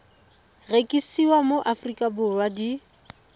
rekisiwa mo aforika borwa di